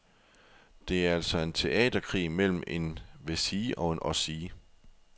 Det er altså en teaterkrig mellem en wessie og en ossie.